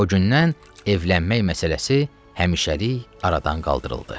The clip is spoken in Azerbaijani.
O gündən evlənmək məsələsi həmişəlik aradan qaldırıldı.